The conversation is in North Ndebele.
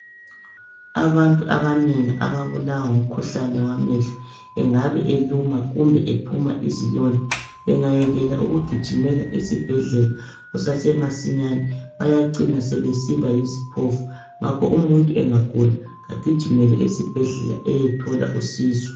Abantu abanengi ababulawa ngumkhuhlane wamehlo engabe eluma kumbe ephuma izilonda engayekela ukugijimela esibhedlela kusasemasinyane bayacina sebesiba yisiphofu. Ngakho umuntu angagula kagijimele esibhedlela eyethola usizo.